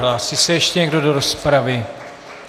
Hlásí se ještě někdo do rozpravy?